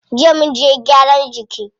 Jiya munje gyaran jiki.